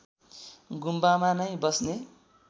गुम्बामा नै बस्ने